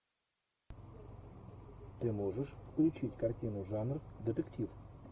ты можешь включить картину жанр детектив